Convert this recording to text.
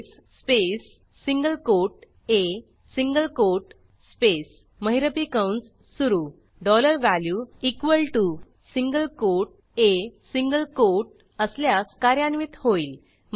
case space single quote a single quote space महिरपी कंस सुरू dollar value equal T O single quote a single quote असल्यास कार्यान्वित होईल